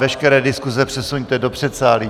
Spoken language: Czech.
Veškeré diskuze přesuňte do předsálí.